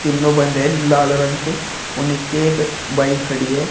तीनों बंद है लाल रंग के और नीचे एक बाइक खड़ी है।